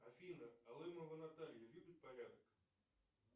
афина алымова наталья любит порядок